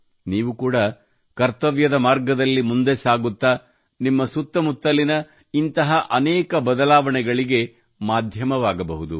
ನೀವು ಕೂಡಾ ಕರ್ತವ್ಯದ ಮಾರ್ಗದಲ್ಲಿ ಮುಂದೆ ಸಾಗುತ್ತಾ ನಿಮ್ಮ ಸುತ್ತಮುತ್ತಲಿನ ಇಂತಹ ಅನೇಕ ಬದಲಾವಣೆಗಳಿಗೆ ಮಾಧ್ಯಮವಾಗಬಹುದು